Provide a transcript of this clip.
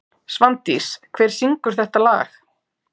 Svandís, hver syngur þetta lag?